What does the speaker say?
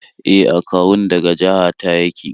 E, akawun daga jaha ta yake